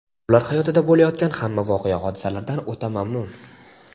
ular hayotida bo‘layotgan hamma voqea-hodisalardan o‘ta mamnun.